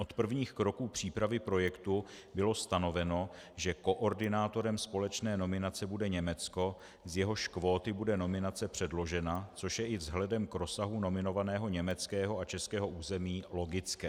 Od prvních kroků přípravy projektu bylo stanoveno, že koordinátorem společné nominace bude Německo, z jehož kvóty bude nominace předložena, což je i vzhledem k rozsahu nominovaného německého a českého území logické.